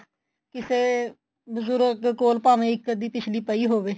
ਕਿਸੇ ਬਜੁਰਗ ਕੋਲ ਭਾਵੇਂ ਇੱਕ ਅੱਧੀ ਪਿਛਲੀ ਪਈ ਹੋਵੇ